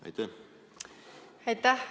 Aitäh!